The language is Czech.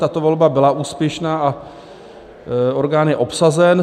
Tato volba byla úspěšná a orgán je obsazen.